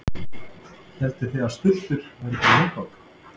Hélduð þið að stultur væru bara leikvang?